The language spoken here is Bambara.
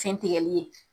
Fɛn tigɛli ye